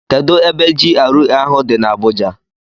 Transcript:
Kedụ ebe GRA ahụ dị na Abuja?